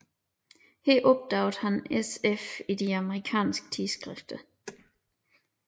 Her opdagede han sf i de amerikanske tidsskrifter